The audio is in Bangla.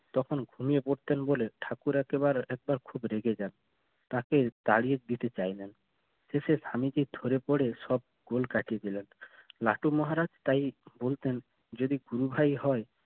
তখন ঘুমিয়ে পড়তেন বলে ঠাকুর একেবারে একবার খুব রেগে যান তাকে তাড়িয়ে দিতে চাইলেন শেষে স্বামীজি ধরে পড়ে সব গোল কাটিয়ে দিলাম লাটু মহারাজ তাই বলতেন যদি গুরু ভাই হয়